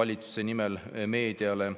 valitsuse nimel meediale?